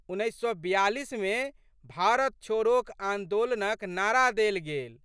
उन्नैस सए बिआलिसमे भारत छोड़ोक आन्दोलनक नारा देल गेल।